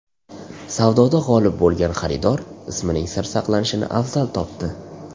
Savdoda g‘olib bo‘lgan xaridor ismining sir saqlanishini afzal topdi.